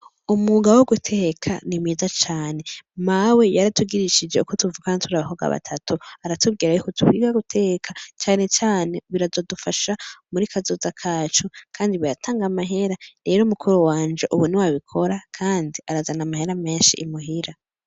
Umuga wo guteka nimiza cane mawe yari atugirishije uko tuvukana turi abakoga batatu aratubwira yuko tuwira guteka canecane birazodufasha muri kazoza kacu, kandi biratanga amahera rero mukuru wanje ubuni wabikora, kandi arazana amahera menshi imuhira.